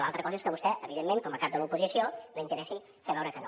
l’altra cosa és que a vostè evidentment com a cap de l’oposició li interessi fer veure que no